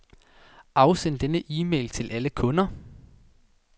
Afsend denne e-mail til alle kunder.